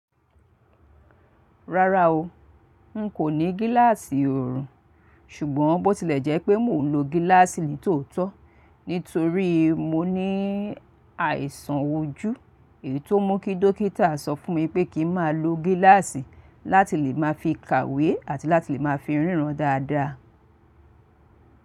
Rárá o, n kò ní gíláàsì oorun, ṣùgbọ́n bó tilẹ̀ jẹ́ pé mò ń lo gíláàsì ní tòótọ́, nítorí mó ní àìsàn ojú ètó mú kí dókítà sọ fún mi pé kí n máa lo gíláàsì láti lè máa fi kàwé àti láti lè máa fi ríran dáadáa.